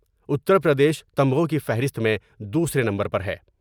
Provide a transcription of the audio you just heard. اتر پردیش تمغوں کی فہرست میں دوسرے نمبر پر ہے ۔